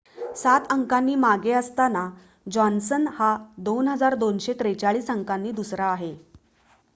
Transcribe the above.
7 अंकांनी मागे असताना जॉन्सन हा 2,243 अंकांनी दुसरा आहे